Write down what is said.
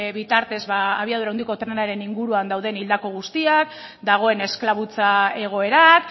bitartez abiadura handiko trenaren inguruan dauden hildako guztiak dagoen esklabutza egoerak